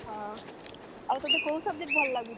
ହଁ, ଆଉ ତତେ କୋଉ subject ଭଲ ଲାଗୁଛି?